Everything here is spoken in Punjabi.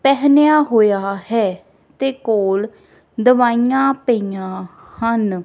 ਪੇਹਨੇਯਾ ਹੋਯਾ ਹੈ ਤੇ ਕੋਲ ਦਵਾਈਆਂ ਪਾਇਆਂ ਹਨ।